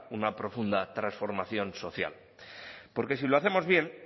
una profunda transformación social porque si lo hacemos bien